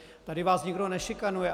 Tady vás nikdo nešikanuje.